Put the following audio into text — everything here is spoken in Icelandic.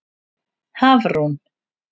Hafrún